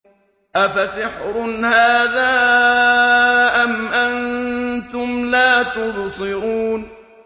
أَفَسِحْرٌ هَٰذَا أَمْ أَنتُمْ لَا تُبْصِرُونَ